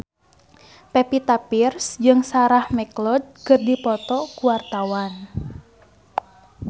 Pevita Pearce jeung Sarah McLeod keur dipoto ku wartawan